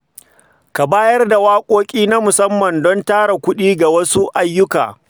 Ka bayar da waƙoƙi na musamman don tara kuɗi ga wasu ayyuka.